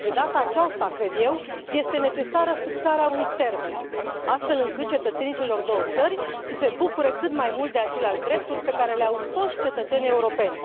De data aceasta, cred eu, este necesară fixarea unui termen, astfel încât cetățenii celor două țări să se bucure cât mai mult de aceleași drepturi pe care le au toți cetățenii europeni.